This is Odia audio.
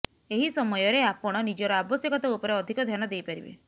ଏହି ସମୟରେ ଆପଣ ନିଜର ଆବଶ୍ୟକତା ଉପରେ ଅଧିକ ଧ୍ୟାନ ଦେଇପାରିବେ